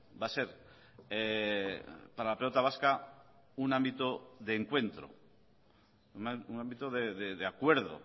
va a ser para la pelota vasca un ámbito de encuentro un ámbito de acuerdo